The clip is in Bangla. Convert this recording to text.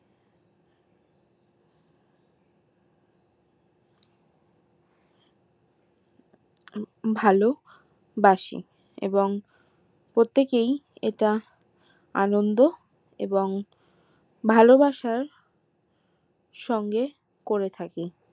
ভালোবাসে এবং প্রত্যেকেই এটা আনন্দ এবং ভালোবাসার সঙ্গে করে থাকি